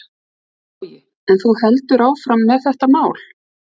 Logi: En þú heldur áfram með þetta mál?